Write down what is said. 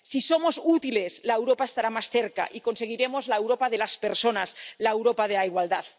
Si somos útiles, Europa estará más cerca y conseguiremos la Europa de las personas, la Europa de la igualdad.